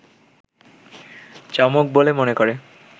চমক বলে মনে করে